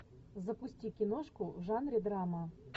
запусти киношку в жанре драма